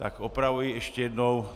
Tak opravuji ještě jednou.